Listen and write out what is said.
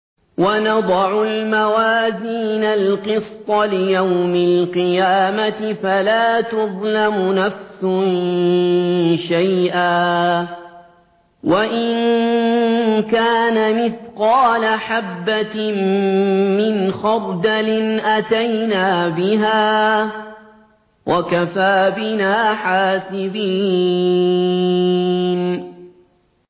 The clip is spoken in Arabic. وَنَضَعُ الْمَوَازِينَ الْقِسْطَ لِيَوْمِ الْقِيَامَةِ فَلَا تُظْلَمُ نَفْسٌ شَيْئًا ۖ وَإِن كَانَ مِثْقَالَ حَبَّةٍ مِّنْ خَرْدَلٍ أَتَيْنَا بِهَا ۗ وَكَفَىٰ بِنَا حَاسِبِينَ